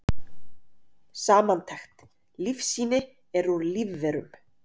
Samantekt: Lífsýni eru úr lífverum.